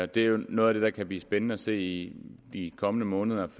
det er jo noget af det der kan blive spændende at se i de kommende måneder